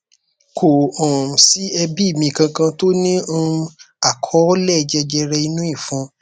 kò um sí ẹbí mi kankan tó ní um àkọọlẹ jẹjẹre inú ìfun